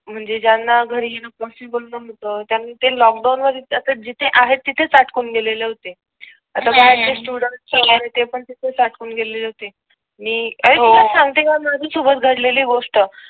म्हणजे ज्यांना घरी येऊन पॉसिबल नव्हतं मग त्यांनी ते लोकडाऊन मध्ये आता जिथे आहे तिथेच अडकून गेले होते आता काही स्टुडंट्स वैगेरे आहे ते पण तिथेच अडकून गेले होते. तुला सांगते काय मी घडलेली गोष्ट.